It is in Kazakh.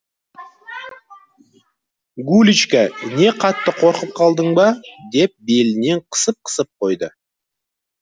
гулечка не қатты қорқып қалдың ба деп белінен қысып қысып қойды